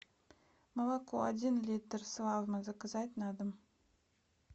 молоко один литр славмо заказать на дом